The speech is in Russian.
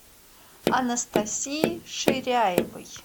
анастасии ширяевой